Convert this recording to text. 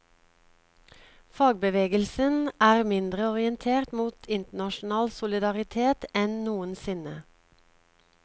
Fagbevegelsen er mindre orientert mot internasjonal solidaritet enn noensinne.